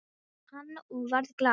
sagði hann og varð glaður við.